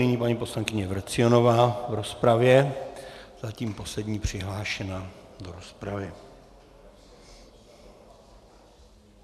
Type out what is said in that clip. Nyní paní poslankyně Vrecionová v rozpravě, zatím poslední přihlášená do rozpravy.